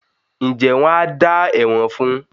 ǹjẹ́ wọn á “ dá ẹ̀wọ̀n” fún.?